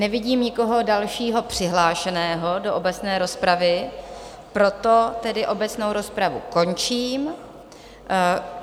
Nevidím nikoho dalšího přihlášeného do obecné rozpravy, proto tedy obecnou rozpravu končím.